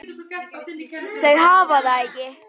Þau hafa það ekki.